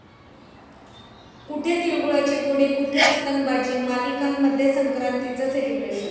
कुठे तिळगुळाची गोडी, कुठे पतंगबाजी...मालिकांमध्ये संक्रांतीचं सेलिब्रेशन